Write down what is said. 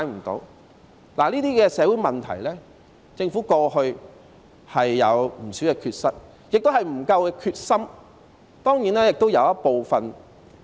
對於這些社會問題，政府過去有不少缺失，亦未有決心解決。